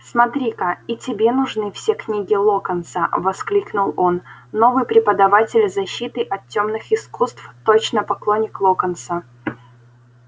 смотри-ка и тебе нужны все книги локонса воскликнул он новый преподаватель защиты от тёмных искусств точно поклонник локонса